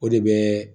O de bɛ